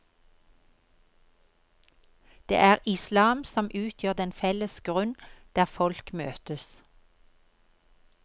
Det er islam som utgjør den felles grunn der folk møtes.